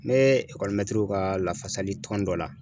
N bɛ ekɔlimɛtiriw ka lafasali tɔn dɔ la.